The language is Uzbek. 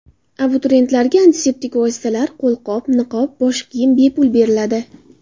Abituriyentlarga antiseptik vositalar, qo‘lqop, niqob, bosh kiyim bepul beriladi .